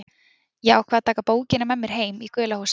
Ég ákvað að taka bókina með mér heim í gula húsið.